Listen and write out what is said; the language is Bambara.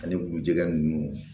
Ani kuru jɛgɛn ninnu